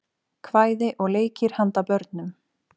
kvæði og leikir handa börnum